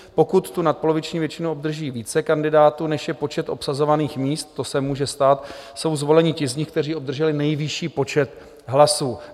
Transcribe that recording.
Pokud tu nadpoloviční většinu obdrží více kandidátů než je počet obsazovaných míst - to se může stát - jsou zvoleni ti z nich, kteří obdrželi nejvyšší počet hlasů.